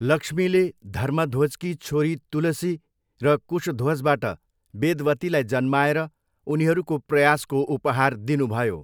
लक्ष्मीले धर्मध्वजकी छोरी तुलसी र कुशध्वजबाट वेदवतीलाई जन्माएर उनीहरूको प्रयासको उपहार दिनुभयो।